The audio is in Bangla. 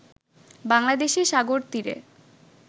বাংলাদেশে সাগরতীরে